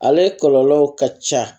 Ale kɔlɔlɔ ka ca